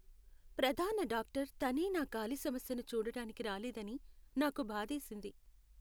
ప్రధాన డాక్టర్ తనే నా కాలి సమస్యని చూడటానికి రాలేదని నాకు బాధేసింది.